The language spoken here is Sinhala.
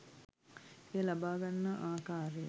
එය ලබා ගන්නා ආකාරය